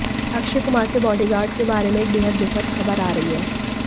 अक्षय कुमार के बॉडीगार्ड के बारे में एक बेहद दुखद खबर आ रही है